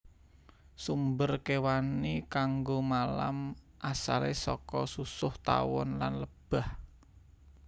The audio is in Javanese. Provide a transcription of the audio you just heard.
Sumber kéwani kanggo malam asalé saka susuh tawon lan lebah